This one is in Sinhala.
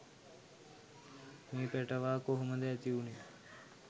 මේ පැටවා කොහොමද ඇතිවුණේ